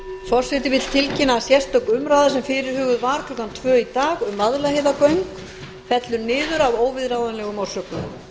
forseti vill tilkynna að sérstök umræða sem fyrirhuguð var klukkan tvö í dag um vaðlaheiðargöng fellur niður af óviðráðanlegum orsökum